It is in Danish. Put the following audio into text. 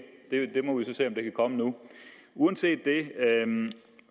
komme nu uanset det